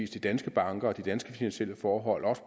de danske banker og de danske finansielle forhold også